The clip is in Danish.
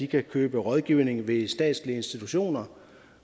kan købe rådgivning ved statslige institutioner